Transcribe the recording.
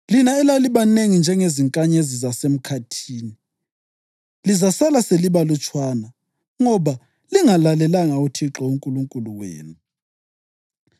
Lina elalibanengi njengezinkanyezi zasemkhathini lizasala selibalutshwana, ngoba lingalalelanga uThixo uNkulunkulu wenu.